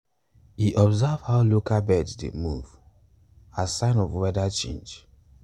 e observe how local birds dey move as sign of weather change.